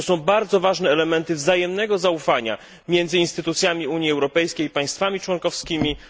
To są bardzo ważne elementy wzajemnego zaufania między instytucjami Unii Europejskiej i państwami członkowskimi a Rosją.